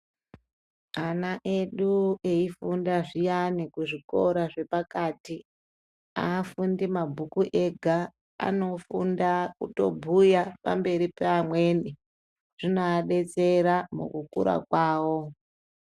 Ana edu eifunda zviyani kuzvikora zvepakati, aafundi mabhuku ega. Anofunda kutobhuya pamberi peamweni. Zvinoadetsera mukukura kwavo.